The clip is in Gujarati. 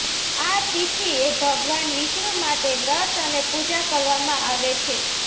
આ તિથિએ ભગવાન વિષ્ણુ માટે વ્રત અને પૂજા કરવામાં આવે છે